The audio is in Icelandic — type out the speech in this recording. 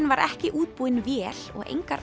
var ekki útbúinn vél og engar